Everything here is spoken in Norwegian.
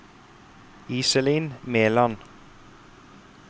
Iselin Meland